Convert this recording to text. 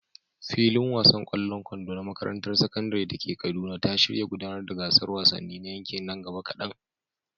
Filin wasan ƙwallon kwando na makarantar sakandare ta Kaduna ya shirya gudanar da gasar wasanni na yankin nan gaba kadan.